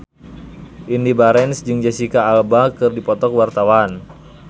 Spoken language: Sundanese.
Indy Barens jeung Jesicca Alba keur dipoto ku wartawan